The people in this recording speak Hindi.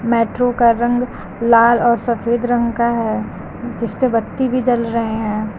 मेट्रो का रंग लाल और सफेद रंग का है जिसपे बत्ती भी जल रहे हैं।